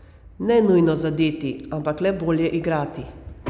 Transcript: Ne nujno zadeti, ampak le bolje igrati.